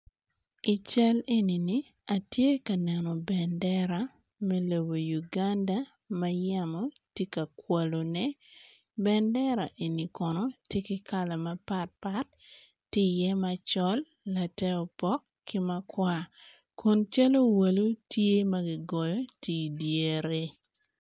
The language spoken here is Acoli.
I cal eni atye ka neno bendera me lobo Uganda ma yamo tye ka kakwalone bendera eni kono tye ki kala mapatpat tye i iye macol late opok ki makwar kun cal owalo tye ma kigoyo tye idyere.